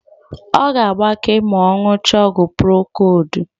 Ọ ga-agbake ma ọ ṅụchaa ọgwụ prokodu.